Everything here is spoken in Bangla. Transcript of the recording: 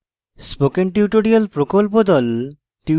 spoken tutorial প্রকল্প the